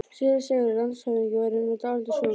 SÉRA SIGURÐUR: Landshöfðingi verður nú dálítið súr.